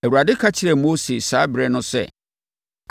Awurade ka kyerɛɛ Mose saa ɛberɛ no sɛ,